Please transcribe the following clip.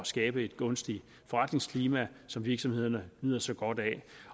skabe et gunstigt forretningsklima som virksomhederne nyder så godt af